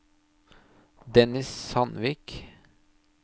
Dennis Sandvik